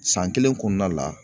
San kelen kɔnɔna la